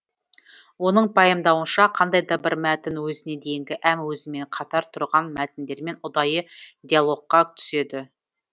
оның пайымдауынша қандай да бір мәтін өзіне дейінгі әм өзімен қатар тұрған мәтіндермен ұдайы диалогқа түседі